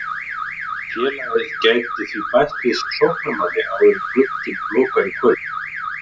Félagið gæti því bætt við sig sóknarmanni áður en glugginn lokar í kvöld.